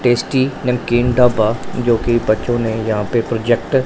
tasty namkeen dhaba जोकि बच्चों ने यहां पे प्रोजेक्टर --